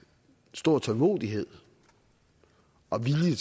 stor tålmodighed og vilje